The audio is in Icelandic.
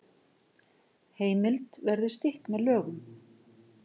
Heimild verði stytt með lögum